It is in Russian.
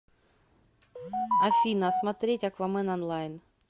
афина смотреть аквамен онлайн